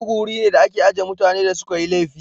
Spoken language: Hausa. Kurkuku wuri ne da ake ajiye mutanen da suka yi laifi.